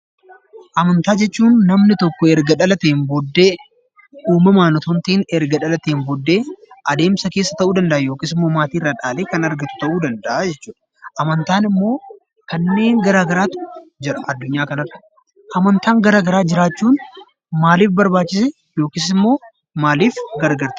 Amantaa jechuun namni tokko erga dhalateen booddee uumamaan otoo hin ta'in erga dhalateen booddee adeemsa keessa ta'uu danda'a. Yookiis immoo maatii irraa dhaalee kan argate ta'uu danda'a jechuu dha. Amantaan immoo kanneen garaagaraatu jira addunyaa kanarra. Amantaan garaagaraa jiraachuun maaliif barbaachise yookiis immoo maaliif gargaara?